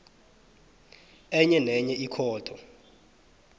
enye nenye ikhotho